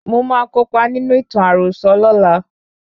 Mo máa kópa nínú ìtàn àròsọ lola